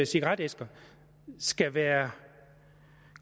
cigaretæsker skal være